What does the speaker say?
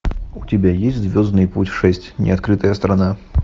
у тебя есть звездный путь шесть неоткрытая страна